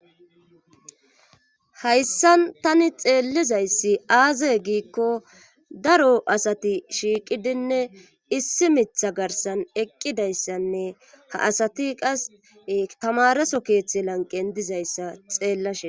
hayssan tani xeelizayssi aazee giiko daro asati shiiqidinne issi miththa garssan eqqidayssanne ha asati qas tamareeso keththi lanqqen dizayssa xeelashe days.